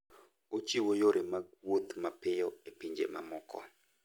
Ochiwo yore mag wuoth mapiyo e pinje mamoko.